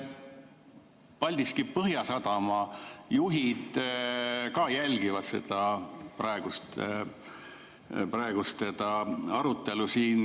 Paldiski Põhjasadama juhid ka jälgivad seda arutelu siin.